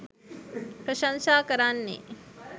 ප්‍රශංසා කරන්නේ්